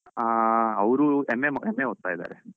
ಹಾ ಅವ್ರು MA ಮಾಡ್ MA ಓದ್ತಾ ಇದ್ದಾರೆ.